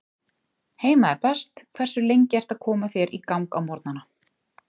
Heima er best Hversu lengi ertu að koma þér í gang á morgnanna?